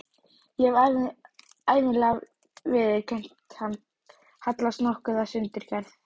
Ég hef ævinlega viðurkenndi hann, hallast nokkuð að sundurgerð